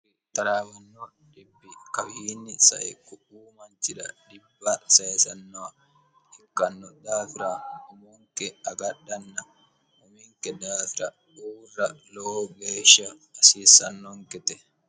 tlawanno dhibbi kawiinni saiqu uu manchira dhibba saesano hikkanno daafira umunke agadhanna huminke daafira uurra lowo geeshsha asiissannonke te